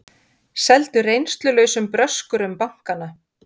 Seldu reynslulausum bröskurum bankana